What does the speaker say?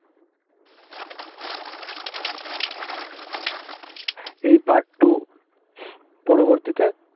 এই part two পরবর্তীতে